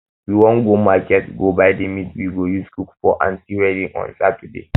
we wan go market go buy the meat we go use cook for my aunty wedding on saturday